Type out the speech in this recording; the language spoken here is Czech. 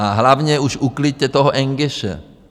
A hlavně už ukliďte toho engéše.